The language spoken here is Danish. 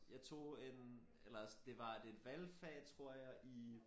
Jeg tog en eller det var et valgfag tror jeg i